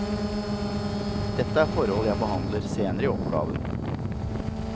Dette er forhold jeg behandler senere i oppgaven.